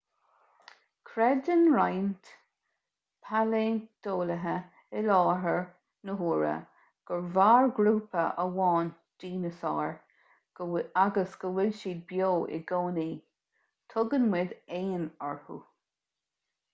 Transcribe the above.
creideann roinnt pailé-ointeolaithe i láthair na huaire gur mhair grúpa amháin dineasáir agus go bhfuil siad beo i gcónaí tugann muid éin orthu